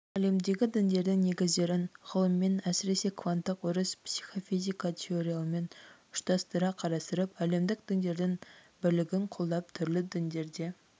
әлемдегі діндердің негіздерін ғылыммен әсіресе кванттық өріс психофизика теорияларымен ұштастыра қарастырып әлемдік діндердің бірлігін қолдап түрлі діндерде